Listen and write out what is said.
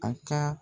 A ka